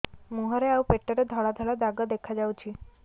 ମୁହଁରେ ଆଉ ପେଟରେ ଧଳା ଧଳା ଦାଗ ଦେଖାଯାଉଛି